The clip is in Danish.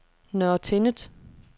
Nørre Tinnet